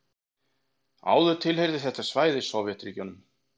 Áður tilheyrði þetta svæði Sovétríkjunum.